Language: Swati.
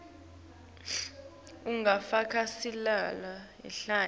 ngulofaka sicelo hhayi